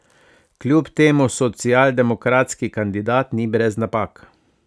Kljub temu socialdemokratski kandidat ni brez napak.